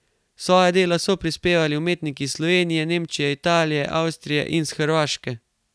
Svoja dela so prispevali umetniki iz Slovenije, Nemčije, Italije, Avstrije in s Hrvaške.